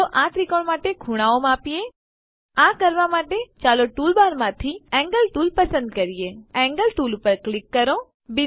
ચાલો આ ત્રિકોણ માટે ખુણાઓ માપીએ આ કરવા માટે ચાલો ટૂલબારમાંથી એન્ગલ ટૂલ પસંદ કરીએ એન્ગલ ટૂલ પર ક્લિક કરો